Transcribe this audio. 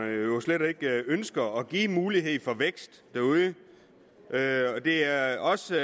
det ønsker at give mulighed for vækst derude det er også